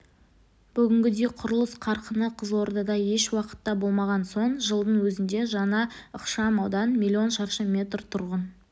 бүгінгідей құрылыс қарқыны қызылордада ешуақытта болмаған соңғы жылдың өзінде жаңа ықшам аудан млн шаршы метр тұрғын